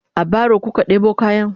a baro kuka ɗebo kayan?